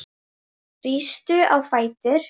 Rístu á fætur